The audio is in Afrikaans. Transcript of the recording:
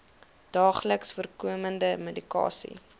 daagliks voorkomende medikasie